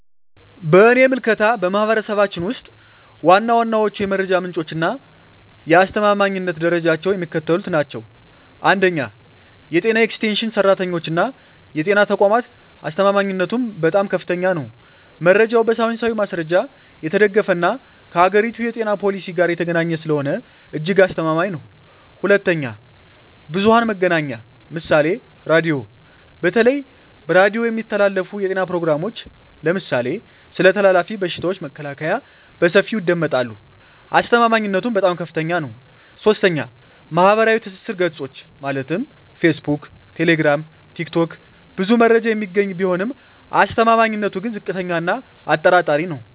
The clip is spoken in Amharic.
በእኔ ምልከታ፣ በማኅበረሰባችን ውስጥ ዋና ዋናዎቹ የመረጃ ምንጮችና የአስተማማኝነት ደረጃቸው የሚከተሉት ናቸው፦ 1. የጤና ኤክስቴንሽን ሠራተኞችና የጤና ተቋማት አስተማማኝነቱም በጣም ከፍተኛ ነው። መረጃው በሳይንሳዊ ማስረጃ የተደገፈና ከአገሪቱ የጤና ፖሊሲ ጋር የተገናኘ ስለሆነ እጅግ አስተማማኝ ነው። 2. ብዙኃን መገናኛ ምሳሌ ራዲዮ:- በተለይ በሬዲዮ የሚተላለፉ የጤና ፕሮግራሞች (ለምሳሌ ስለ ተላላፊ በሽታዎች መከላከያ) በሰፊው ይደመጣሉ። አስተማማኝነቱም በጣም ከፍታኛ ነው። 3. ማኅበራዊ ትስስር ገጾች (ፌስቡክ፣ ቴሌግራም፣ ቲክቶክ) ብዙ መረጃ የሚገኝ ቢሆንም አስተማማኝነቱ ግን ዝቅተኛ እና አጠራጣሪ ነው።